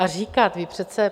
A říkat, vy přece...